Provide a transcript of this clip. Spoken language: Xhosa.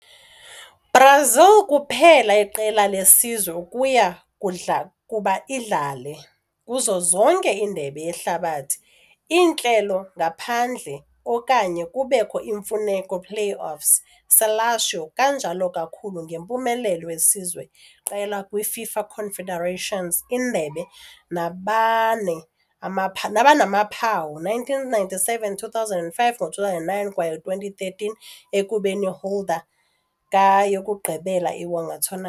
- Brazil kuphela iqela lesizwe ukuya kuba idlalwe kuzo zonke Indebe Yehlabathi iintlelo ngaphandle na okanye kubekho imfuneko playoffs. - "seleção" kanjalo kakhulu ngempumelelo wesizwe qela kwi - FIFA Confederations Indebe nabane amapha nabanamaphawu- 1997, 2005, ngo-2009 kwaye 2013, ekubeni holder ka-yokugqibela iwonga tourna.